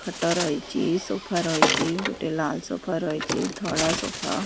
ଖଟ ରହିଚି। ସୋଫା ରହିଚି। ଗୋଟେ ଲାଲ ସୋଫା ରହିଚି। ଧଳା ସୋଫା --